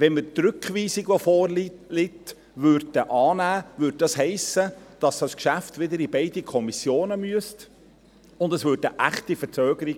– Wenn wir die vorliegende Rückweisung annähmen, hiesse dies, dass dieses Geschäft wieder in beide Kommissionen gehen müsste, und es gäbe eine echte Verzögerung.